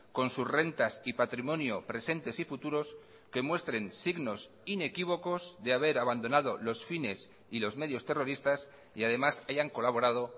con sus rentas y patrimonio presentes y futuros que muestren signos inequívocos de haber abandonado los fines y los medios terroristas y además hayan colaborado